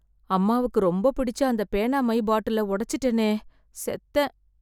அம்மாவுக்கு ரொம்பப் பிடிச்ச அந்த பேனா மை பாட்டில உடைச்சுட்டேனே! செத்தேன்!